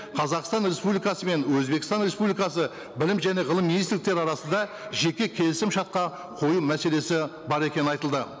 қазақстан республикасы мен өзбекстан республикасы білім және ғылым министрліктері арасында жеке келісімшартқа қою мәселесі бар екені айтылды